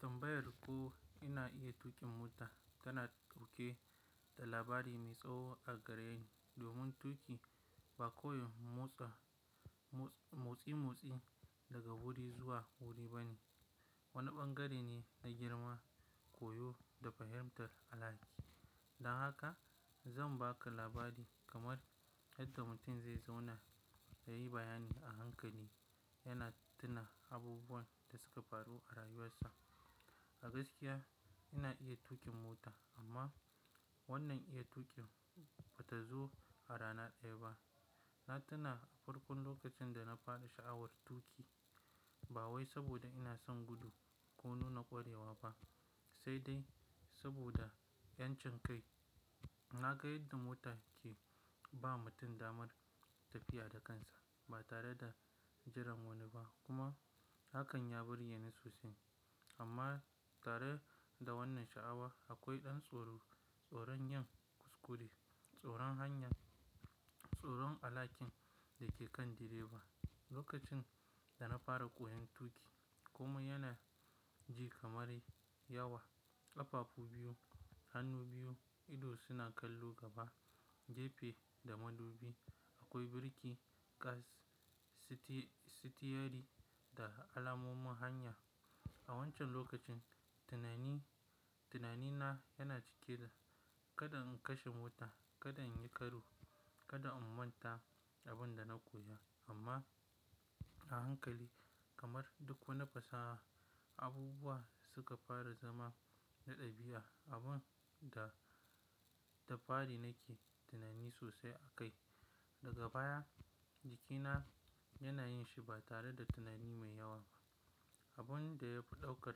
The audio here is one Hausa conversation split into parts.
Tambayar ko ina iya tuƙin mota tana dauke da labari mai tsawo a gareni. Domin tuƙi, ba kawai motsa, motsi-motsi daga guri zuwa guri bane. Wani ɓangare ne na girma, koyo da fahimtar alhaki. Don haka zan baka labari kamar yadda mutum zai zauna ya yi bayani a hankali yana tuna abubuwan da suka faru a rayuwarsa. A gaskiya ina iya tuƙin mota amma wannan iya tuƙin bata zo a rana ɗaya ba. Na tuna a farkon lokacin da na fara sha'awar tuƙi ba wai saboda ina son gudu ko nuna ƙwarewa ba sai dai saboda 'yancin kai. Na ga yadda mota ke ba mutum damar tafiya da kansa ba tare da jiran wani ba kuma hakan ya burge ni sosai. Amma tare da wannan sha'awa akwai ɗan tsoro, tsoron yin kuskure, tsoron hanya, tsoron alhakin da ke kan direba. Lokacin da na fara koyon tuƙi komai yana ji kamar yawa. Ƙafafu biyu, hannu biyu, ido suna kallon gaba, jefa da madubi. Akwai birki, kas, siti-sitiyari da alamomin hanya. A wancan lokacin tunani, tunanina yana cike da kada in kashe mota, kada in yi karo, kada in manta abin da na koya. Amma a hankali kamar duk wani fasaha, abubuwa suka fara zama na ɗabi'a. Abin da da fari nake tunani sosai akai daga baya jikina yana yin shi ba tare da tunani mai yawa ba. Abin da ya fi ɗaukar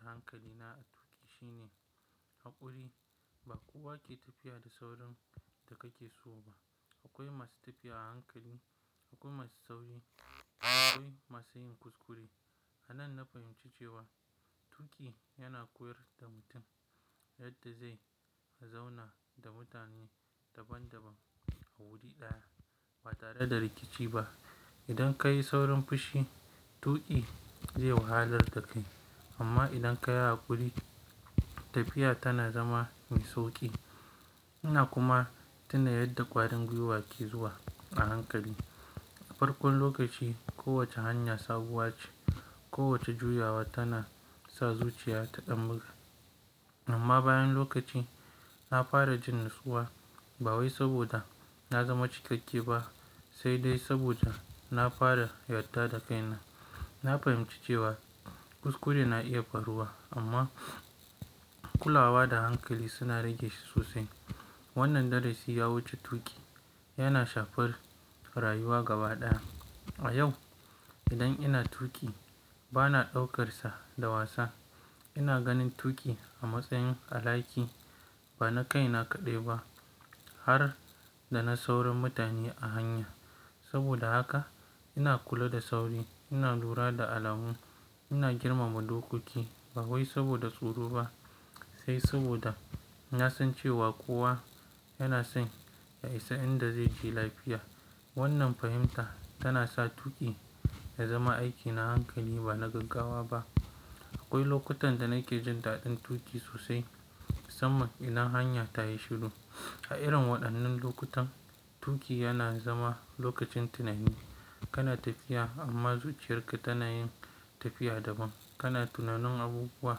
hankalina a tuƙi shine haƙuri. Ba kowa ke tafiya da saurin da kake so ba. Akwai masu tafiya a hankali, akwai masu sauri, akwai masu yin kuskure. A nan na fahimci cewa tuƙi yana koyar da mutum yadda zai zauna da mutane daban-daban a wuri ɗaya ba tare da rikici ba. Idan ka yi saurin fushi, tuƙi zai wahalar da kai amma idan ka yi haƙuri tafiya tana zama mai sauƙi. Ina kuma tuna yadda ƙwarin gwiwa ke zuwa a hankali. A farkon lokaci kowace hanya sabuwa ce, kowace juyawa tana sa zuciya ta ɗan buga. Amma bayan lokaci na fara jin natsuwa ba wai saboda na zama cikakke ba sai dai saboda na fara yarda da kaina. Na fahimci cewa kuskure na iya faruwa amma kulawa da hankali suna rage shi sosai. Wannan darasi ya wuce tuƙi yana shafar rayuwa gaba ɗaya. A yau idan ina tuƙi bana ɗaukarsa da wasa. Ina ganin tuƙi a matsayin alhaki. Ba na kai na kaɗai ba har da na saurin mutane a hanya. Saboda haka ina kula da sauri, ina lura da alamu, ina girmama dokoki ba wai saboda tsoro ba sai saboda na san cewa kowa yana son ya isa inda zai je lafiya. Wannan fahimta tana sa tuƙi ya zama aiki na hankali ba na gaggawa ba. Akwai lokutan da nake jin daɗin tuƙi sosai musamman idan hanya ta yi shiru. A irin waɗannan lokutan tuƙi yana zama lokacin tunani. Kana tafiya amma zuciyarka tana yin tafiya daban. Kana tunanin abubuwa,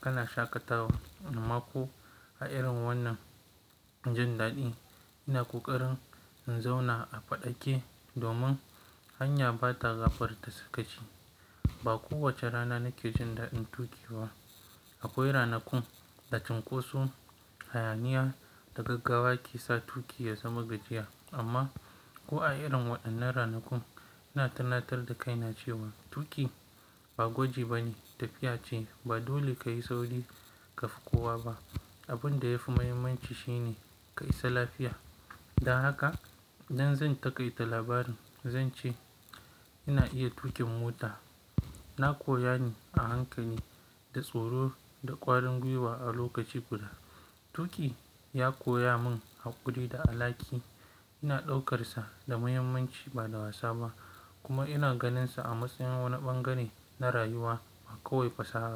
kana shaƙatawa amma ko. A irin wannan jin daɗi ina ƙoƙarin in zauna a faɗake domin hanya ba ta gafarta sakaci. Ba kowace rana nake jin daɗin tuƙi ba. Akwai ranakun da cunkoso, hayaniya da gaggawa ke sa tuƙi ya zama gajiya. Amma ko a irin waɗannan ranakun ina tunatar da kaina cewa tuƙi ba gwaji bane tafiya ce. Ba dole kayi sauri kafi kowa ba. Abin da yafi muhimmanci shine ka isa lafiya. Don haka idan zan taƙaita labarin zan ce ina iya tuƙin mota. Na koya ne a hankali, da tsoro, da ƙwarin gwiwa a lokaci guda. Tuƙi ya koya mun haƙuri da alhaki. Ina ɗaukarsa da muhimmanci ba da wasa ba kuma ina ganinsa a matsayin wani ɓangare na rayuwa ba kawai fasaha ba.